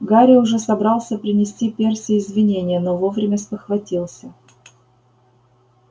гарри уже собрался принести перси извинение но вовремя спохватился